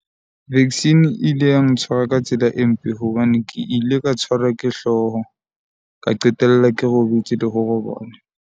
Vaccine e ile ya ntshwara ka tsela e mpe hobane ke ile ka tshwarwa ke hlooho, ka qetella ke robetse le ho robala.